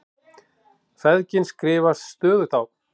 Feðginin skrifast stöðugt á.